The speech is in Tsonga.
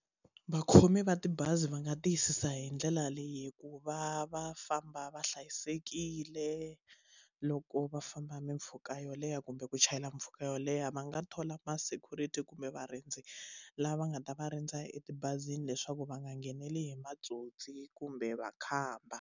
Vakhomi va tibazi va nga tiyisisa hi ndlela leyi ku va va famba va hlayisekile loko va famba mimpfhuka yo leha kumbe ku chayela mpfhuka yo leha va nga thola ma security kumbe varindzi lava va nga ta va rindza etibazini leswaku va nga ngheneli hi matsotsi kumbe makhamba.